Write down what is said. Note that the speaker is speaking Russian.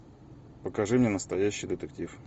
покажи мне настоящий детектив